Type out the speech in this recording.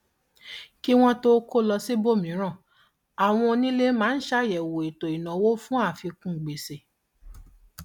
kí wọn tó kó lọ síbòmíràn àwọn onílé máa ń ṣàyẹwò ètò ìnáwó fún àfikún gbèsè